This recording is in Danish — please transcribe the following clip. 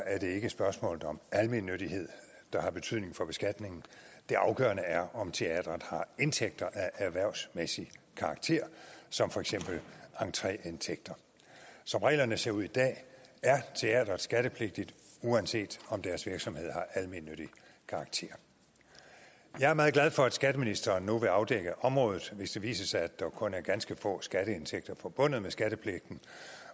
er det ikke spørgsmålet om almennyttighed der har betydning for beskatningen det afgørende er om teatret har indtægter af erhvervsmæssig karakter som for eksempel entreindtægter som reglerne ser ud i dag er teatret skattepligtigt uanset om deres virksomhed har almennyttig karakter jeg er meget glad for at skatteministeren nu vil afdække området hvis det viser sig at der kun er ganske få skatteindtægter forbundet med skattepligten